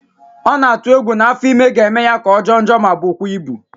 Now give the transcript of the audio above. Ọ na-atụ egwu na afọ ime ga-eme ya ka ọ jọọ njọ ma bụkwa ịbụ